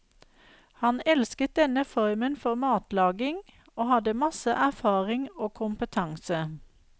Han elsket denne formen for matlaging, og hadde masse erfaring og kompetanse.